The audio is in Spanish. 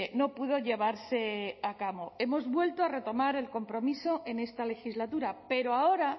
no pudo llevarse a cabo hemos vuelto a retomar el compromiso en esta legislatura pero ahora